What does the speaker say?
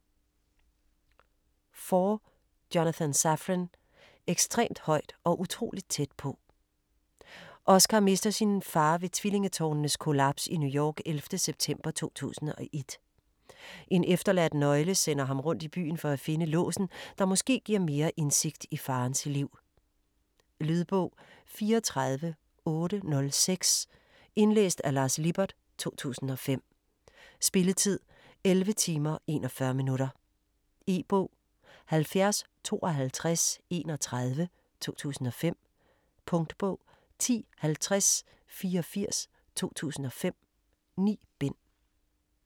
Foer, Jonathan Safran: Ekstremt højt & utrolig tæt på Oscar mister sin far ved tvillingetårnenes kollaps i New York 11. september 2001. En efterladt nøgle sender ham rundt i byen for at finde låsen, der måske giver mere indsigt i farens liv. Lydbog 34806 Indlæst af Lars Lippert, 2005. Spilletid: 11 timer, 41 minutter. E-bog 705231 2005. Punktbog 105084 2005. 9 bind.